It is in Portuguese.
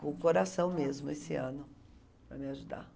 Com o coração mesmo, esse ano, para me ajudar.